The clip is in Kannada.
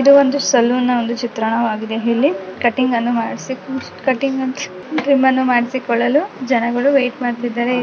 ಇದು ಒಂದು ಸಲೂನ್ ನ ಒಂದು ಚಿತ್ರಣವಾಗಿದೆ ಇಲ್ಲಿ ಕಟ್ಟಿಂಗನ್ನು ಮಾಡಿಸಲು ಕಟಿಂಗ್ ಟ್ರಿಮ್ಮನ್ನ್ನು ಮಾಡಿಸಲು ಜನರು ವೇಟ್ ಮಾಡುತ್ತಿದ್ದಾರೆ.